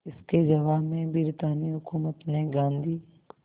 इसके जवाब में ब्रितानी हुकूमत ने गांधी